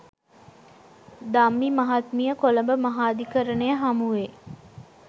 ධම්මි මහත්මිය කොළඹ මහාධිකරණය හමුවේ